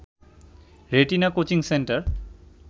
retina coaching centre